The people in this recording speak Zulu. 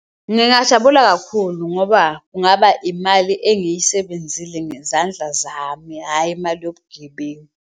Ngingajabula kakhulu ngoba kungaba imali engiyisebenzile ngezandla zami, hhayi imali yobugebengu.